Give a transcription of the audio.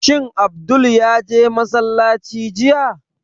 Shin Abdul ya je masallaci jiya?